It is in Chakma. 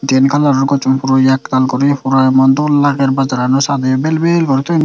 diyen coloror gosson puro yehkal guri puro emon dol lager bazarano sadey vel vel guri toyon.